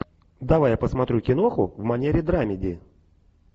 давай я посмотрю киноху в манере драмеди